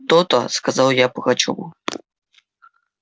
то-то сказал я пугачёву